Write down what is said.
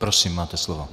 Prosím, máte slovo.